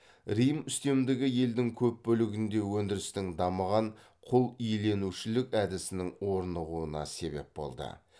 рим үстемдігі елдің көп бөлігінде өндірістің дамыған құл иеленушілік әдісінің орнығуына себеп болды